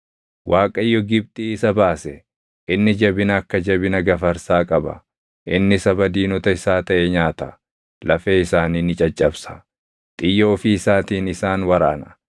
“Waaqayyo Gibxii isa baase; inni jabina akka jabina gafarsaa qaba. Inni saba diinota isaa taʼe nyaata; lafee isaanii ni caccabsa; xiyya ofii isaatiin isaan waraana.